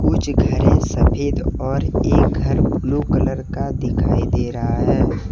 कुछ घरे सफेद और एक घर ब्लू कलर का दिखाई दे रहा है।